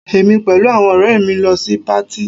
Èmi pẹ̀lú àwọn ọ̀rẹ́ mi lọ sí patí